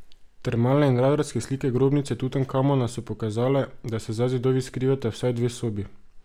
Termalne in radarske slike grobnice Tutankamona so pokazale, da se za zidovi skrivata vsaj dve sobi.